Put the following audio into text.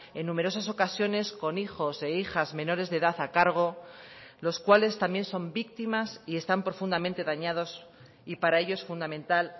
en numerosas ocasiones con hijos e hijas menores de edad a cargo los cuales también son víctimas y están profundamente dañados y para ello es fundamental